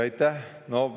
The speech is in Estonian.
Aitäh!